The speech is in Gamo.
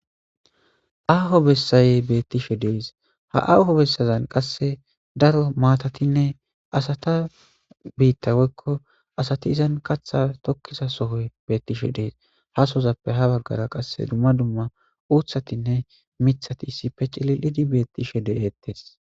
Aho besay betishe de'es . Ha Aho besazan qasse daro maatatinne asata biitta woykko asati izan kaththa tokiza sohoy betishe de'es . Ha sozppe hara bagara dumma dumma uththatine miiththati c'lilidi betishe de'etes.